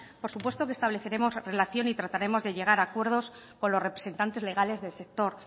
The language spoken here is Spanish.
por supuesto que estableceremos relación y trataremos de llegar a acuerdos con los representantes legales del sector